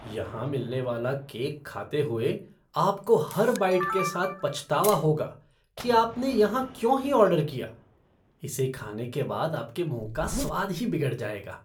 यहां मिलने वाला केक खाते हुए आपको हर बाइट के साथ पछतावा होगा कि आपने यहाँ क्यों ही ऑर्डर किया, इसे खाने के बाद आपके मुँह का स्वाद ही बिगड़ जाएगा।